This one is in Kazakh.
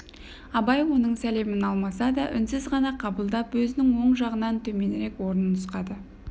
абай оның сәлемін алмаса да үнсіз ғана қабылдап өзінің оң жағынан төменірек орын нұсқады